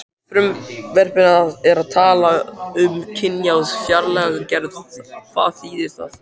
Í frumvarpinu er talað um kynjaða fjárlagagerð, hvað þýðir það?